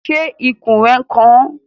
Ṣé ikùn rẹ n kan ọ?